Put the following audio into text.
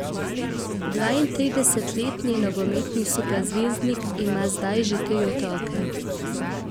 Dvaintridesetletni nogometni superzvezdnik ima zdaj že tri otroke.